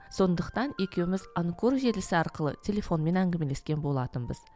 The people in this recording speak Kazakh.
сондықтан екеуміз анкор желісі арқылы телефонмен әңгімелескен болатынбыз